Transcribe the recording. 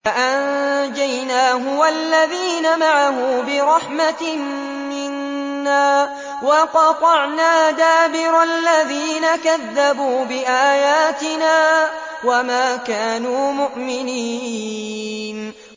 فَأَنجَيْنَاهُ وَالَّذِينَ مَعَهُ بِرَحْمَةٍ مِّنَّا وَقَطَعْنَا دَابِرَ الَّذِينَ كَذَّبُوا بِآيَاتِنَا ۖ وَمَا كَانُوا مُؤْمِنِينَ